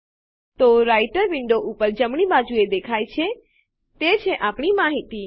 તો રાઈટર વિન્ડોનાં ઉપર જમણી બાજુએ દેખાય છે તે છે આપણી માહિતી